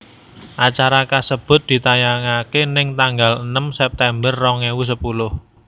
Acara kasebut ditayangaké ning tanggal enem September rong ewu sepuluh